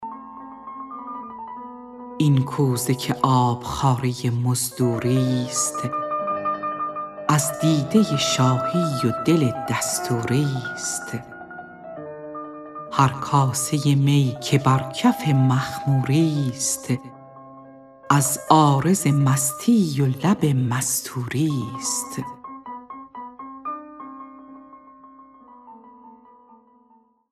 این کوزه که آبخواره مزدوری ست از دیده شاهی و دل دستوری ست هر کاسه می که بر کف مخموری ست از عارض مستی و لب مستوری ست